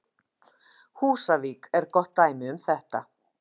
Húsavík er gott dæmi um þetta.